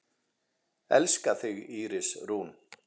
Elska þig, Íris Rún.